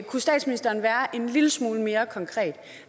kunne statsministeren være en lille smule mere konkret